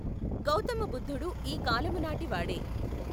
గౌతమ బుద్ధుడు ఈ కాలము నాటి వాడే.